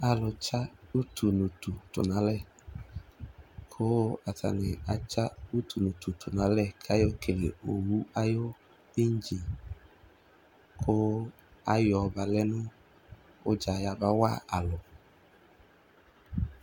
Alutsa utu nʋ utu tʋ nʋ alɛ, kʋ atani atsa utu nʋ utu tʋ nʋ alɛ, kʋ ayɔ kele owu ayʋ ɩŋdzini, kʋ ayɔbalɛ nʋ udza yabawa alu